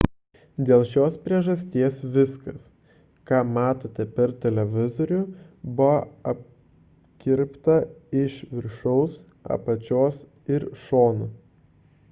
dėl šios priežasties viskas ką matote per televizorių buvo apkirpta iš viršaus apačios ir šonų